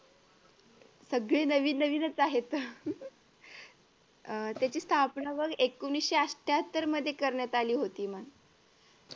सगळी नवीन नवीनच आहेत अह त्याची स्थापना बघ एकोणविशे अट्ठ्याहत्तर मध्ये करण्यात आली होती.